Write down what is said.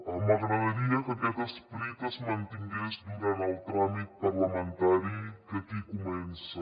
m’agradaria que aquest esperit es mantingués durant el tràmit parlamentari que aquí comença